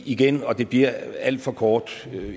igen og det bliver alt for kort